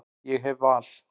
Ég hef val.